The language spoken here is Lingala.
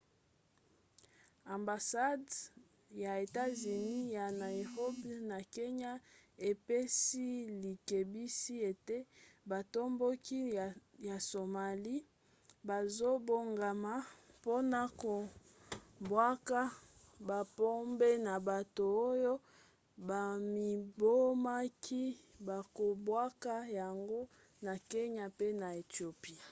ambasade ya etats-unis ya nairobi na kenya epesi likebisi ete batomboki ya somalie bazobongama mpona kobwaka babombe na bato oyo bamibomaka bakobwaka yango na kenya pe na ethiopie